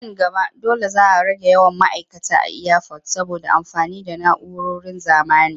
Nan gaba dole za a rage yawan ma'aikata a iyafot saboda amfani da na'uroron zamani.